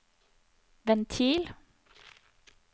ventil